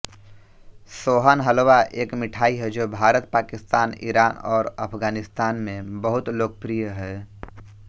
सोहन हलवा एक मिठाई है जो भारत पाकिस्तान ईरान और अफगानिस्तान में बहुत लोकप्रिय है